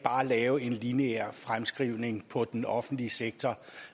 lave en lineær fremskrivning på den offentlige sektor